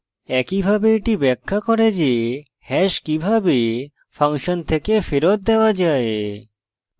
একইভাবে এটি ব্যাখ্যা করে যে hash কিভাবে ফাংশন থেকে ফেরত দেওয়া যায়